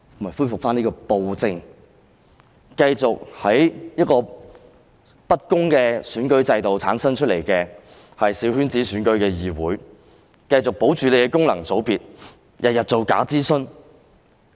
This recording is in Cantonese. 就是恢復暴政，繼續透過小圈子選舉這樣不公的選舉制度產生議會，保留功能界別，每天做假諮詢。